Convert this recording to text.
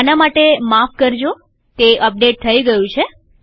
આના માટે માફ કરજોતે અપડેટ થઇ ગયું છે